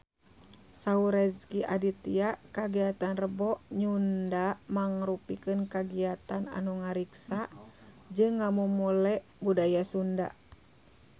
Saur Rezky Aditya kagiatan Rebo Nyunda mangrupikeun kagiatan anu ngariksa jeung ngamumule budaya Sunda